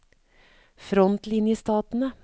frontlinjestatene